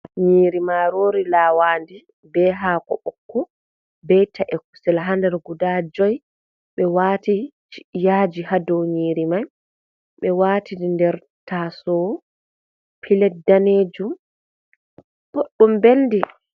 Nyiiri maaroori laawaandi be haako ɓokko, be ta`e kusel har guda 5, ɓe waati yaaji haa dow nyiiri may, ɓe waati nder taasoowo pilet daneejum ɗuuɗɗum belndi.